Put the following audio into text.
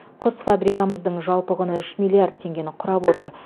құс фабрикамыздың жалпы құны үш миллиард теңгені құрап отыр